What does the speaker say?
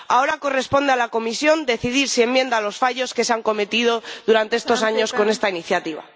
Ahora corresponde a la Comisión decidir si enmienda los fallos que se han cometido durante estos años con esta iniciativa.